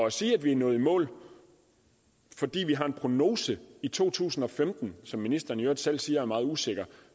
at sige at vi er nået i mål fordi vi har en prognose i to tusind og femten som ministeren i øvrigt selv siger er meget usikker